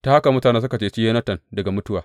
Ta haka mutane suka ceci Yonatan daga mutuwa.